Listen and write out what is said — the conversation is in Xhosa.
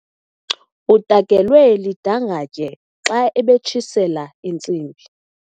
Utakelwe lidangatye xa ebetshisela intsimbi.